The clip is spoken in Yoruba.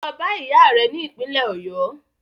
Lọ bá ìyá rẹ ni ìpínlẹ́ Ọ̀yọ́!